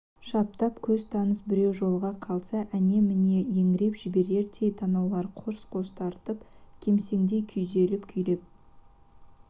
шаптап көз таныс біреу жолыға қалса әне-міне еңіреп жіберердей танауларын қорс-қорс тартып кемсеңдей күйзеліп күйреп